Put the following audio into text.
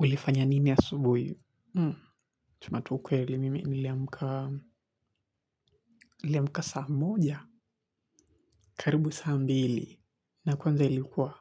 Ulifanya nini asubuhi? Hum. Chumatukwe li mimi niliamka niliamka saa moja. Karibu saa mbili. Na kwanza ilikuwa.